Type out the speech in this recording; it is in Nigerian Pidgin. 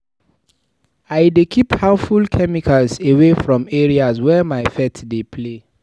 I dey keep harmful chemicals away from areas where my pet dey play.